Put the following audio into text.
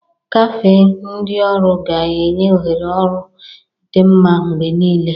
Kafé ndị ọrụ ga-enye ohere ọrụ dị mma mgbe niile.